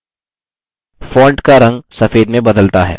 font का रंग सफेद में बदलता है